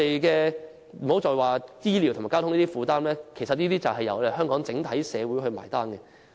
更不用說醫療和交通等負擔，其實都須由香港整體社會負責"埋單"。